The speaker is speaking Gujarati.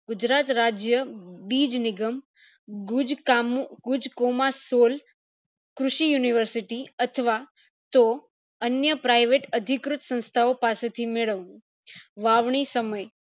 ગુજરાત રાજ્ય બીજ નિગમ ગુજ કામો ગુજ કોમાંસોલ કૃષિ university અથવા તો અન્ય private અધિકૃત સંસ્થા ઓ પાસે થી મેળવવો વાવણી સમય